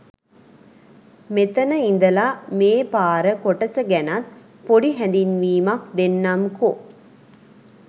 මෙතන ඉදලා මේ පාර කොටස ගැනත් පොඩි හැදින්වීමක් දෙන්නම්කො.